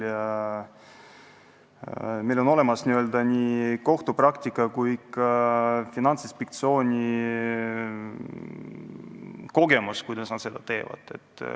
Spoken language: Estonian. Ja meil on olemas nii kohtupraktika kui ka Finantsinspektsiooni kogemus, kuidas nad seda tööd teevad.